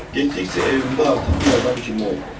Getdikcə evimdə artıq bir adam kimi oldum.